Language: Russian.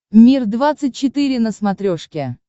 мир двадцать четыре на смотрешке